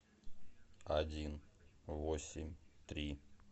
один восемь три